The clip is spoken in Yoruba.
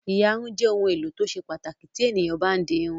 Ìyarun jẹ́ ohun-èlò tó ṣe pàtàkì tí ènìyàn bá ń di irun.